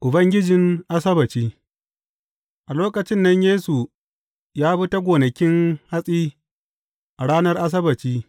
Ubangijin Asabbaci A lokacin nan Yesu ya bi ta gonakin hatsi a ranar Asabbaci.